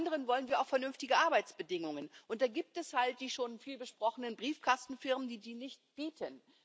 Zum anderen wollen wir auch vernünftige Arbeitsbedingungen, und da gibt es die schon viel besprochenen Briefkastenfirmen, die die nicht bieten.